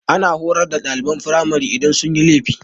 Ana horar da ɗaliban firamari idan sun yi laifi.